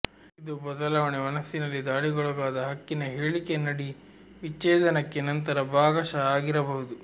ಇದು ಬದಲಾವಣೆ ಮನಸ್ಸಿನಲ್ಲಿ ದಾಳಿಗೊಳಗಾದ ಹಕ್ಕಿನ ಹೇಳಿಕೆ ನಡಿ ವಿಚ್ಛೇದನಕ್ಕೆ ನಂತರ ಭಾಗಶಃ ಆಗಿರಬಹುದು